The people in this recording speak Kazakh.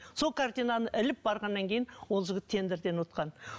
сол картинаны іліп барғаннан кейін ол жігіт тендерден ұтқан